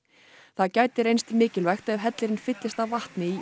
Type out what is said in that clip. það gæti reynst mikilvægt ef hellirinn fyllist af vatni